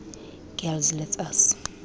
girls let us